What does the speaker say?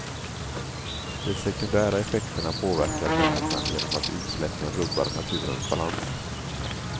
De sekundära effekterna påverkar människan genom att utsläppen rubbar naturens balans.